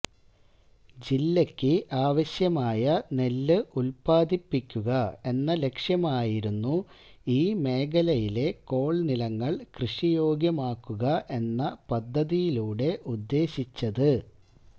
ജില്ലയ്ക്ക് ആവശ്യമായ നെല്ല് ഉല്പാദിപ്പിക്കുക എന്ന ലക്ഷ്യമായിരുന്നു ഈ മേഖലയിലെ കോള്നിലങ്ങള് കൃഷിയോഗ്യമാക്കുക എന്ന പദ്ധതിയിലൂടെ ഉദ്ദേശിച്ചത്